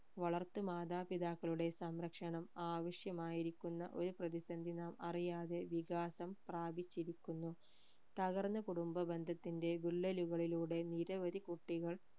വളർത്തു മാതാപിതാക്കളുടെ സംരക്ഷണം ആവിശ്യമായിരിക്കുന്ന ഒരു പ്രതി സന്ധി നാം അറിയാതെ വികാസം പ്രാപിച്ചിരുക്കുന്നു തകർന്ന കുടുംബ ബന്ധത്തിന്റെ വിള്ളലുകളിലൂടെ നിരവധി കുട്ടികൾ